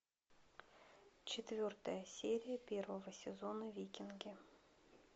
четвертая серия первого сезона викинги